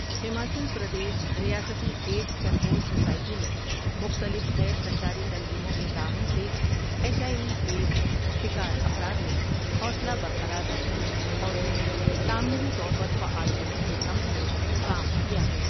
ہماچل پردیش ریاستی AIDS control society نے مختلف غیر سرکاری تنظیموں کے تعاون سے ایچ آئی وی ایڈز شکار افراد میں حوصلہ برقرار رکھنے اور انہیں تعمیری طور پر فعال کرنے کی سمت میں کام کیا ہے ۔